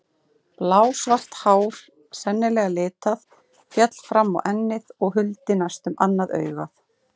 Blásvart hár, sennilega litað, féll fram á ennið og huldi næstum annað augað.